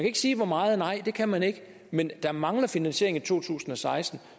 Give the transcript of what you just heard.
ikke sige hvor meget nej det kan man ikke men der mangler finansiering i to tusind og seksten